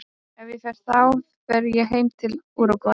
Ef ég fer þá fer ég heim til Úrúgvæ.